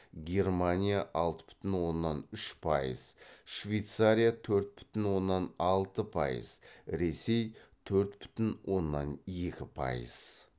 германия алты бүтін оннан үш пайыз швейцария төрт бүтін оннан алты пайыз ресей төрт бүтін оннан екі пайыз